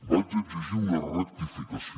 vaig exigir una rectificació